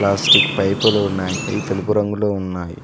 Plastic పైపులు ఉన్నాయి అవి తెలుపు రంగులో ఉన్నాయి.